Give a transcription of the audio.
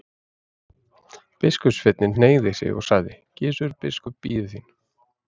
Biskupssveinninn hneigði sig og sagði:-Gizur biskup bíður þín.